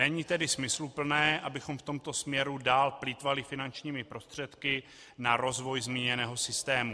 Není tedy smysluplné, abychom v tomto směru dál plýtvali finančními prostředky na rozvoj zmíněného systému.